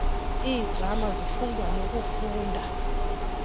iidrama zifundwa nokufundwa